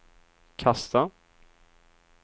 kasta